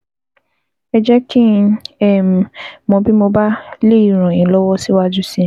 Ẹ jẹ́ kí n um mọ̀ bí mo bá lè ràn yín lọ́wọ́ síwájú sí i